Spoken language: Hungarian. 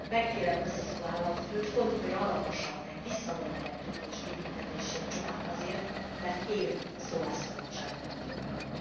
Megkérem Basescu államfőt, fontolja meg alaposan, visszavonja e Tőkés kitüntetését csupán azért, mert él szólásszabadságának jogával.